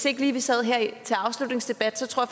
ikke lige sad her til afslutningsdebat tror